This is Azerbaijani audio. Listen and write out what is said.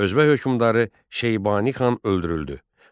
Özbək hökmdarı Şeybani xan öldürüldü.